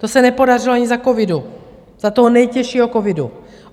To se nepodařilo ani za covidu, za toho nejtěžšího covidu.